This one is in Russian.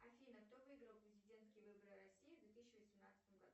афина кто выиграл президентские выборы в россии в две тысячи восемнадцатом году